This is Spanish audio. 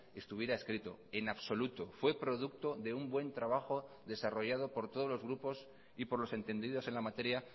estuviera escrito en absoluto fue producto de un buen trabajo desarrollado por todos los grupos y por los entendidos en la materia